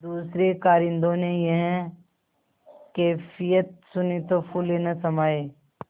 दूसरें कारिंदों ने यह कैफियत सुनी तो फूले न समाये